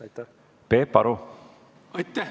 Aitäh!